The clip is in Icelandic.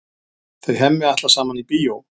Þau Hemmi ætla saman í bíó.